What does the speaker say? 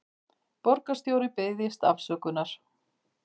Borgarstjóri biðjist afsökunar